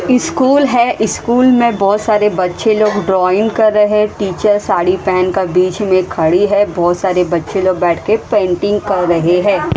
School है school में बहोत सारे बच्चे लोग ड्राइंग कर रहे हैं टीचर साड़ी पहन का बीच में खड़ी है बहोत सारे बच्चे लोग बैठकर पेंटिंग कर रहे हैं।